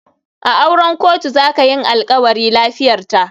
A auren kotu zaka yinalkawari. lafiyarta.